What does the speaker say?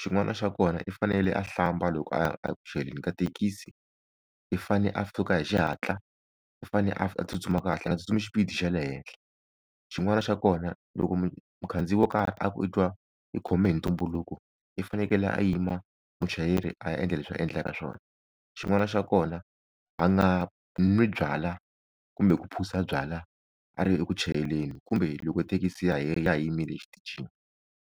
xin'wana xa kona i fanele a hlamba loko a ya eku chayeleni ka thekisi i fane a suka hi xihatla u fane a tsutsuma kahle a nga tsutsumi xipidi xa le henhla xin'wana xa kona loko mukhandziyi wo karhi a ku i twa i khome hi ntumbuluko i fanekele a yima muchayeri a ya endla leswi a endlaka swona xin'wana xa kona a nga nwi byalwa kumbe ku phuza byalwa a ri eku chayeleni kumbe loko thekisi ya ha ya ha yimile exitichini.